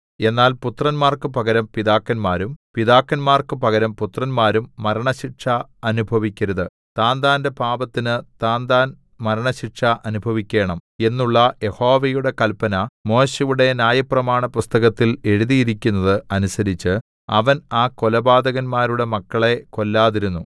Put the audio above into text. എന്നാൽ പുത്രന്മാർക്കു പകരം പിതാക്കന്മാരും പിതാക്കന്മാർക്കു പകരം പുത്രന്മാരും മരണശിക്ഷ അനുഭവിക്കരുത് താന്താന്റെ പാപത്തിന് താന്താൻ മരണശിക്ഷ അനുഭവിക്കേണം എന്നുള്ള യഹോവയുടെ കൽപ്പന മോശെയുടെ ന്യായപ്രമാണപുസ്തകത്തിൽ എഴുതിയിരിക്കുന്നത് അനുസരിച്ച് അവൻ ആ കൊലപാതകന്മാരുടെ മക്കളെ കൊല്ലാതിരുന്നു